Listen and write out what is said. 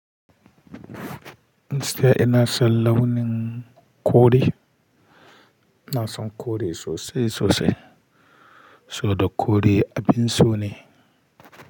Sai ina son launin kore. Ina son kore sosai sosai. Saboda kore abin so ne.